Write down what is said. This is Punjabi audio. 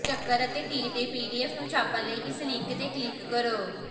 ਚੱਕਰ ਅਤੇ ਤੀਰ ਦੇ ਪੀਡੀਐਫ ਨੂੰ ਛਾਪਣ ਲਈ ਇਸ ਲਿੰਕ ਤੇ ਕਲਿੱਕ ਕਰੋ